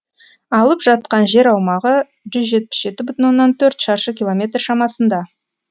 алып жатқан жер аумағы жүз жетпіс жеті бүтін оннан төрт шаршы километр шамасында